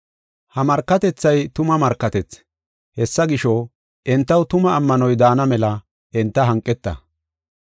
Ha markatethay tuma markatethi. Hessa gisho, entaw tuma ammanoy daana mela enta hanqeta.